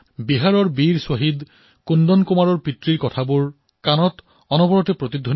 বিহাৰৰ বাসিন্দা শ্বহীদ কুন্দৰ কুমাৰৰ পিতৃৰ বাক্য এতিয়াও কাণত বাজি আছে